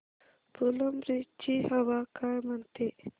फुलंब्री ची हवा काय म्हणते